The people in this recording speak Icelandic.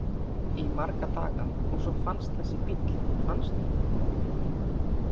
Í marga daga og svo fannst þessi bíll, manstu?